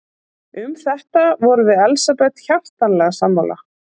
Um þetta vorum við Elsabet hjartanlega sammála.